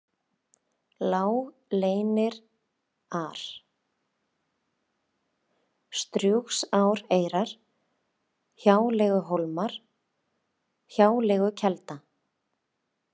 Lágleynirar, Strjúgsáreyrar, Hjáleiguhólmar, Hjáleigukelda